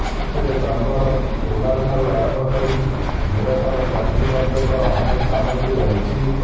ଏଥିରେ ଚାମ୍ବାର ରୁମାଲଠାରୁ ଆରମ୍ଭକରି ମିରଟର କଇଁଚି ପର୍ଯ୍ୟନ୍ତ ଅନେକ ସାମଗ୍ରୀ ରହିଛି